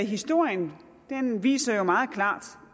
historien viser jo meget klart